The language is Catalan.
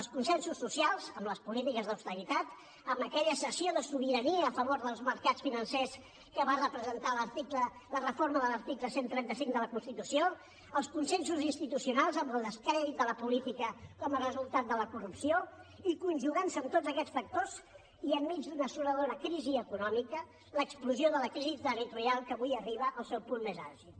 els consensos socials amb les polítiques d’austeritat amb aquella cessió de sobirania a favor dels mercats financers que va representar la reforma de l’article cent i trenta cinc de la constitució els consensos institucionals amb el descrèdit de la política com a resultat de la corrupció i conjugant se amb tots aquests factors i enmig d’una assoladora crisi econòmica l’explosió de la crisi territorial que avui arriba al seu punt més àlgid